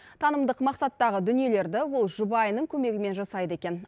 танымдық мақсаттағы дүниелерді ол жұбайының көмегімен жасайды екен